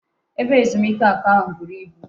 Ebe ezumike aku ahu buru ibu